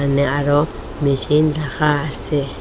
সামনে আরো মেশিন রাখা আসে।